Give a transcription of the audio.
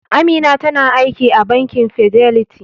Amina tana aiki a bankin Fidelity.